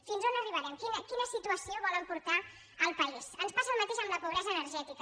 fins a on arribarem a quina situació volen portar el país ens passa el mateix amb la pobresa energètica